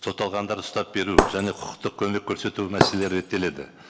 сотталғандарды ұстап беру және құқықтық көмек көрсету мәселелері реттеледі